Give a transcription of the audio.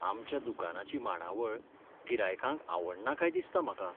आमच्या दुकानाची मांडावळ गिरायकांक आवडना काय दिसता म्हाका.